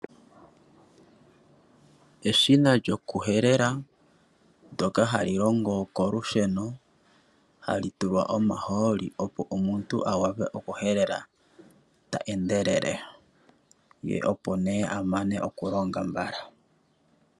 Eshina lyoku helela ndoka hali longo kolusheno, hali tulwa omahooli opo omuntu a wape oku helela ta endelele, ye opo nee a mane oku longa mbala.